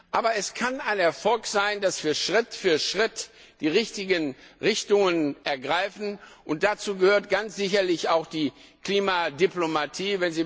Aber es kann ein Erfolg sein, dass wir Schritt für Schritt die richtigen Richtungen einschlagen, und dazu gehört ganz sicherlich auch die Klimadiplomatie.